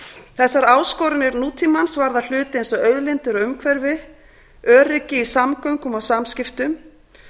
þessar áskoranir nútímans varða hluti eins og auðlindir og umhverfi öryggi í samgöngum og samskiptum